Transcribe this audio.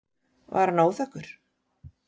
Var hann óþekkur?